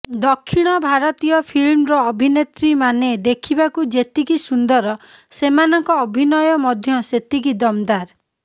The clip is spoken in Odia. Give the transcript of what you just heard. ଦକ୍ଷିଣ ଭାରତୀୟ ଫିଲ୍ମର ଅଭିନେତ୍ରୀମାନେ ଦେଖିବାକୁ ଯେତିକି ସୁନ୍ଦର ସେମାନଙ୍କ ଅଭିନୟ ମଧ୍ୟ ସେତିକି ଦମ୍ଦାର